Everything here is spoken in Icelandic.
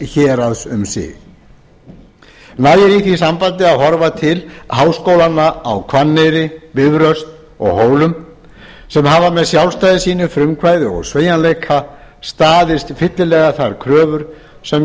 héraðs um sig nægir í því sambandi að horfa til háskólanna á hvanneyri bifröst og hólum sem hafa með sjálfstæði sínu frumkvæði og sveigjanleika staðist fyllilega þær kröfur sem